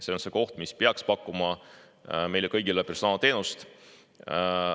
See on see koht, mis peaks pakkuma meile kõigile personaalteenust.